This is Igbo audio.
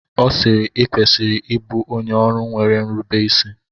Ọ sịịrị, i kwesịrị ịbụ onye ọrụ nwere nrubeisi!